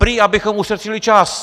Prý abychom ušetřili čas!